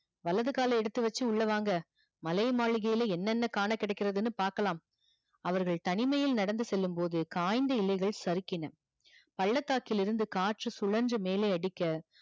வலது கால எடுத்து வச்சி உள்ள வாங்க மலை மாளிகையில என்ன என்ன காண கிடைகிதுன்னு பாப்போம் அவர்கள் தனிமையில் நடந்து செல்லும் போது காய்ந்த இலைகள் சறுக்கின பள்ளத்தாக்கிலிருந்து காற்று சுலர்ந்து மேலே அடிக்க